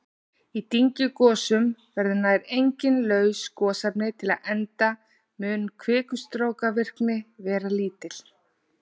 Í dyngjugosum verða nær engin laus gosefni til enda mun kvikustrókavirkni vera lítil.